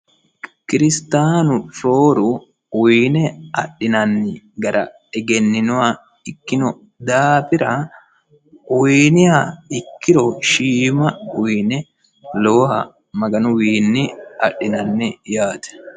kiristaanu rooru uyiine adhinanni gara egenninoha ikkino daafira uyiiniha ikkiro shiima uyiine lowoha maganu wiinni adhinanni yaate